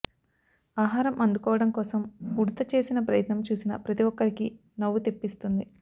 ఆహారం అందుకోవడం కోసం ఉడుత చేసిన ప్రయత్నం చూసిన ప్రతీ ఒక్కరికి నవ్వు తెప్పిస్తుంది